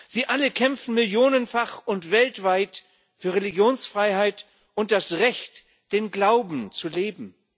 Sie alle kämpfen millionenfach und weltweit für Religionsfreiheit und das Recht, den Glauben zu leben.